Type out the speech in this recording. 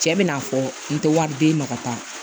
Cɛ bɛna fɔ n tɛ wari di ma ka taa